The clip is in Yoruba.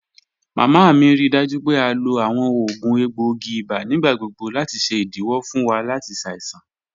Mama mi rii daju pe a lo awọn oògùn egboogi ibà nigbagbogbo lati ṣe idiwọ fun wa lati ṣaisan.